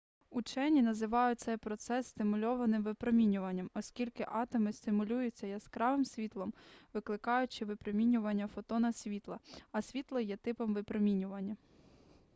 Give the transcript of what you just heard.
учені називають цей процес стимульованим випромінюванням оскільки атоми стимулюються яскравим світлом викликаючи випромінювання фотона світла а світло є типом випромінювання